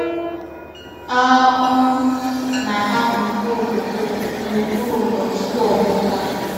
A um na-ahapụ mkpụrụ kọkó n’okpuru ndò tupu ọgbà ụ́ká.